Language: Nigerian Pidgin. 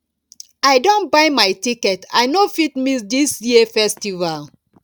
i don buy my ticket i no fit miss dis year festival